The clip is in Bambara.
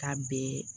Ka bɛn